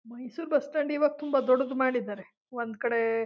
Mysore bus stand ಇವಾಗ ತುಂಬಾ ದೊಡ್ಡದು ಮಾಡಿದ್ದಾರೆ ಒಂದು ಕಡೆ--